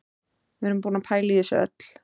Við erum búin að pæla í þessu öllu